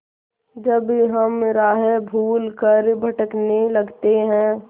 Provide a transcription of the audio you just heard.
जब हम राह भूल कर भटकने लगते हैं